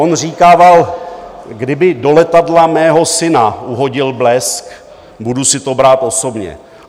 On říkával, kdyby do letadla mého syna uhodil blesk, budu si to brát osobně.